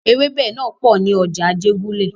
Ewẹ́bẹ̀ náà pò ní ọjà Ajégúnlẹ̀.